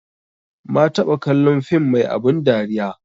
Ma taɓa kallon film mai abun dariya